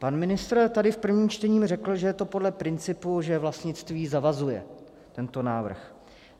Pan ministr tady v prvním čtení řekl, že je to podle principu, že vlastnictví zavazuje, tento návrh.